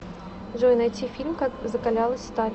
джой найти фильм как закалялась сталь